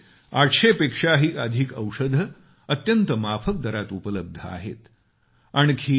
तिथे 800 पेक्षाही अधिक औषधं अत्यंत माफक दरात उपलब्ध आहेत